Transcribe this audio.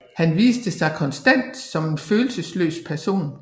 Han viste sig konstant som en følelsesløs person